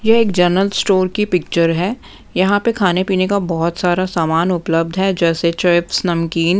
यह एक general store की पिक्चर हैं यहाँ पे खाने-पीने का बहुत सारा सामान उपलब्ध हैं जैसे चिप्स नमकीन--